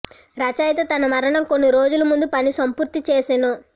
రచయిత తన మరణం కొన్ని రోజుల ముందు పని సంపూర్తి చేసెను